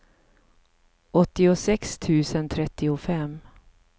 åttiosex tusen trettiofem